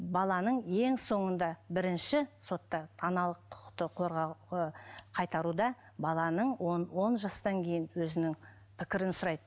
баланың ең соңында бірінші сотта аналық құқықты қорғауға қайтаруда баланың он жастан кейін өзінің пікірін сұрайды